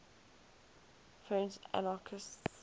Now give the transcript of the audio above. french anarchists